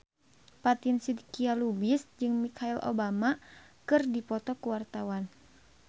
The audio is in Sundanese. Fatin Shidqia Lubis jeung Michelle Obama keur dipoto ku wartawan